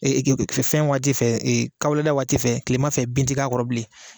fɛn waati fɛ kahulada waati fɛ kilema fɛ bin ti k'a kɔrɔ bilen.